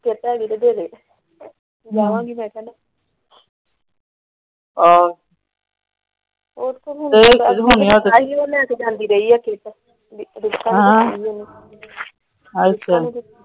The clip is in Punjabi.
ਜਾਵਾਂਗੀ ਮੈ ਕੱਲ।